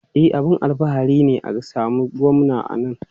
E, abin alfahari ne a samu Gwamna a nan.